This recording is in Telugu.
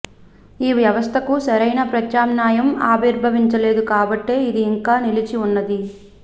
ఈ వ్యవస్థకు సరైన ప్రత్యామ్నాయం ఆవిర్భవించలేదు కాబట్టే అది ఇంకా నిలిచివున్నది